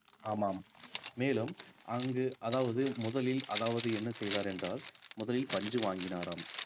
ஆமாம் மேலும் அங்கு அதாவது முதலில் அதாவது என்ன செய்தார் என்றால் முதலில் பஞ்சு வாங்கினாராம்